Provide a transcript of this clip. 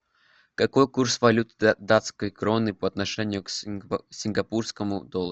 какой курс валют датской кроны по отношению к сингапурскому доллару